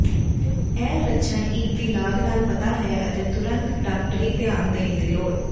ਇਹ ਲੱਛਣ ਇੱਕ ਦੀ ਲਾਗ ਨਾਲ ਪਤਾ ਹੈ ਅਤੇ ਤੁਰੰਤ ਡਾਕਟਰੀ ਧਿਆਨ ਦੇਣ ਦੀ ਲੋੜ